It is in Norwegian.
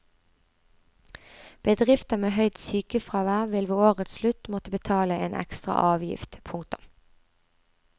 Bedrifter med høyt sykefravær vil ved årets slutt måtte betale en ekstra avgift. punktum